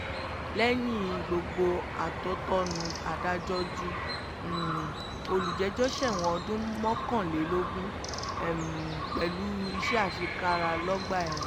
lẹ́yìn gbogbo atótónu adájọ́ ju um olùjẹ́jọ́ sẹ́wọ̀n ọdún mọ́kànlélógún um pẹ̀lú iṣẹ́ àṣekára lọ́gbà ẹ̀wọ̀n